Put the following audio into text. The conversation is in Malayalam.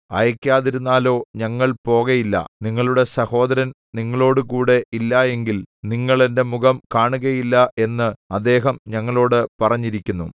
അയക്കാതിരുന്നാലോ ഞങ്ങൾ പോകയില്ല നിങ്ങളുടെ സഹോദരൻ നിങ്ങളോടുകൂടെ ഇല്ല എങ്കിൽ നിങ്ങൾ എന്റെ മുഖം കാണുകയില്ല എന്ന് അദ്ദേഹം ഞങ്ങളോടു പറഞ്ഞിരിക്കുന്നു